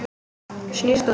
Fáir sjást á ferli.